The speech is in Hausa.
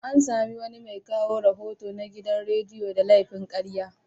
An sami wani mai kawo rahoto na gidan radiyo da laifin karya.